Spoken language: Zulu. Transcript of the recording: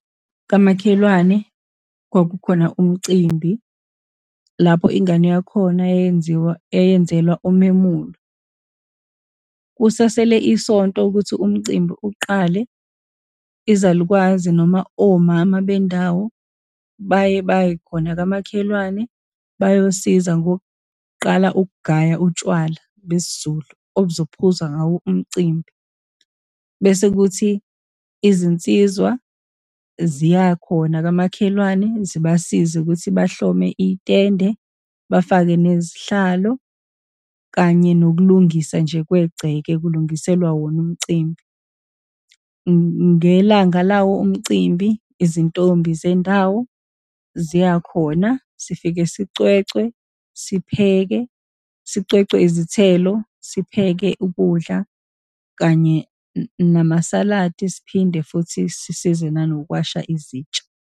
Kamakhelwane kwakukhona umcimbi lapho ingane yakhona yayenziwa, yayenzelwa umemulo. Kusasele isonto ukuthi umcimbi uqale, izalukwazi, noma omama bendawo baye baye khona kamakhelwane bayosiza kokuqala ukugaya utshwala besiZulu, obuzophuzwa ngawo umcimbi, bese kuthi izinsizwa ziyakhona kamakhelwane zibasize ukuthi bahlome itende, bafake nezihlalo, kanye nokulungisa nje kwengceke, kulungiselwa wona umcimbi. Ngelanga lawo umcimbi izintombi zendawo, ziyakhona, sifike sicwecwe, sipheke, sicwecwe izithelo, sipheke ukudla, kanye namasaladi, siphinde futhi sisize nanokuwasha izitsha.